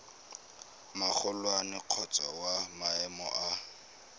magolwane kgotsa wa maemo a